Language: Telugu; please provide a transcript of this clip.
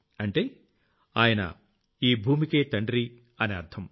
అంటే ఆయన ఈ భూమికే తండ్రి అని అర్థం